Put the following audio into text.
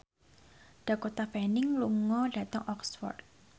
Dakota Fanning lunga dhateng Oxford